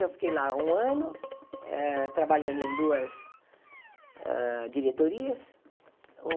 Eu fiquei lá um ano eh trabalhando em duas hã diretorias.